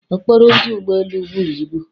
okporo ụzọ ụgbọ elu buru ibu